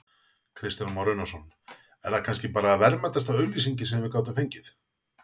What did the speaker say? Kristján Már Unnarsson: Er það kannski bara verðmætasta auglýsing sem við gátum fengið?